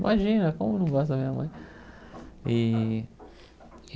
Imagina como eu não gosto da minha mãe e.